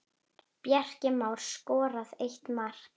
Bjarki Már skoraði eitt mark.